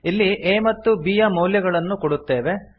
ಇಲ್ಲಿ a ಮತ್ತು b ಯ ಮೌಲ್ಯಗಳನ್ನು ಕೂಡುತ್ತೇವೆ